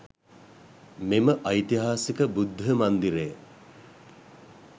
මෙම ඓතිහාසික බුද්ධ මන්දිරය